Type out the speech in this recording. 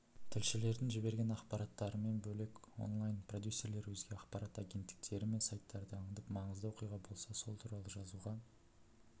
тілшілердің жіберген ақпараттарымен бөлек онлайн продюсерлер өзге ақпарат агенттіктері мен сайттарды аңдып маңызды оқиға болса сол туралы жазуға